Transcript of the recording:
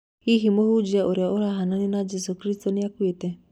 Hihi mũhũnjia ũrĩa ũrahananio na Jesũ Kristo nĩakuite?